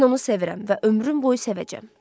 Mən onu sevirəm və ömrüm boyu sevəcəm.